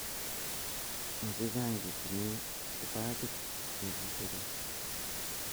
Mo che chang e tinyinekipajiit ne kiserei.